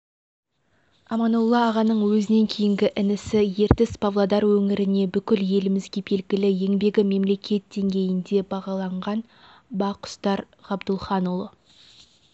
аманолла ағаның өзінен кейінгі інісі ертіс-павлодар өңіріне бүкіл елімізге белгілі еңбегі мемлекет деңгейінде бағаланған бақұстар ғабдулхаұлы